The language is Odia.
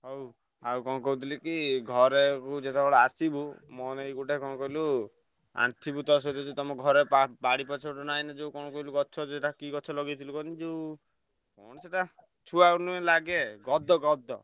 ହଉ। ଆଉ କଣ କହୁଥିଲି କି ଘରେ କୁ ଯେତବେଳେ ଆସିବୁ ମୋ ପାଇଁ ଗୋଟେ କଣ କହିଲୁ ଆଣି ଥିବୁ ତ ସେ ଯୋଉ ଯୋଉ ତମ ଘରେ ବା ବାଡି ପଛପଟେ ନାଇଁନି ଯୋଉ କଣ କହିଲୁ ଗଛ ସେଇଟା କି ଗଛ ଲଗେଇଥିଲୁ କହନି ଯୋଉ ସେଇଟା ଛୁଆ ଲାଗେ ଗଦ ଗଦ।